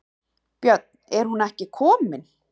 Björn: En hún er ekki komin?